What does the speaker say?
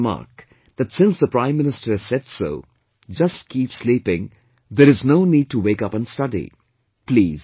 Some might remark that since the Prime Minister has said so, just keep sleeping, there is no need to wake up and study